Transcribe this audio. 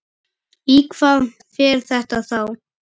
Í hvað fer þetta þá?